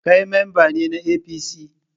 Kai mamba ne na APC?